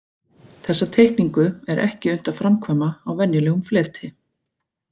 Þessa teikningu er ekki unnt að framkvæma á venjulegum fleti.